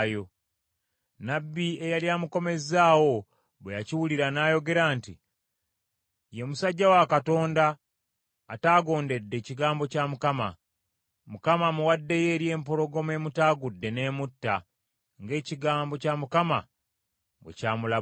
Nnabbi eyali amukomezzaawo bwe yakiwulira n’ayogera nti, “Ye musajja wa Katonda ataagondedde kigambo kya Mukama . Mukama amuwaddeyo eri empologoma emutaagudde n’emutta, ng’ekigambo kya Mukama bwe ky’amulabudde.”